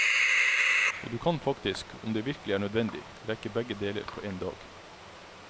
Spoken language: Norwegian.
Og du kan faktisk, om det virkelig er nødvendig, rekke begge deler på en dag.